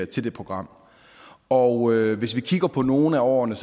til det program og hvis vi kigger på nogle af årene